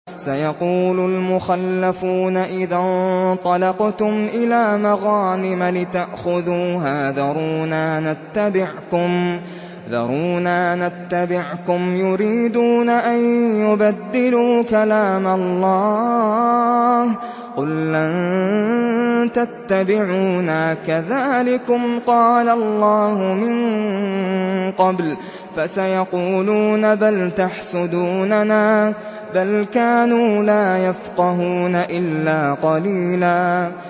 سَيَقُولُ الْمُخَلَّفُونَ إِذَا انطَلَقْتُمْ إِلَىٰ مَغَانِمَ لِتَأْخُذُوهَا ذَرُونَا نَتَّبِعْكُمْ ۖ يُرِيدُونَ أَن يُبَدِّلُوا كَلَامَ اللَّهِ ۚ قُل لَّن تَتَّبِعُونَا كَذَٰلِكُمْ قَالَ اللَّهُ مِن قَبْلُ ۖ فَسَيَقُولُونَ بَلْ تَحْسُدُونَنَا ۚ بَلْ كَانُوا لَا يَفْقَهُونَ إِلَّا قَلِيلًا